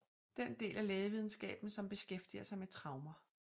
Den del af lægevidenskaben som beskæftiger sig med traumer